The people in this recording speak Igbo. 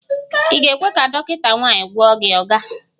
Ị ga-ekwe ka dọkịta nwanyị gwọọ gị, oga?